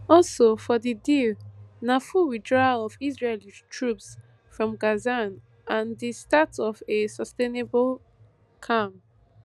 also for di deal na full withdrawal of israeli troops from gaza and di start of a sustainable calm